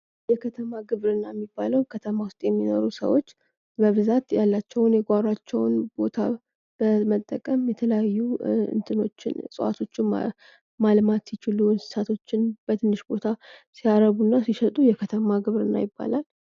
የከተማ ግብርና የሚባለው ከተማ ውስጥ የሚኖሩ ሰዎች በብዛት ያላቸው የጓሮዋቸውን በመጠቀም የተለያዩ እጽዋቶችን ማልማት ሲችሉ እንስሳቶችን በትንሽ ቦታ ሲያረቡና ሲሸጡ የከተማ ግብርና ይባላል።